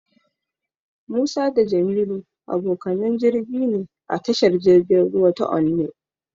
Musa da Jamilu abokanan jirgi ne a tashar jirgin ruwa ta Onne.